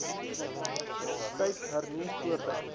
tyd hernu voordat